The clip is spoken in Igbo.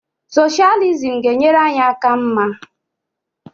Soshalizim ga-enyere anyị aka mma